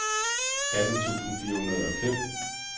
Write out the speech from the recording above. atten tusind fire hundrede og fem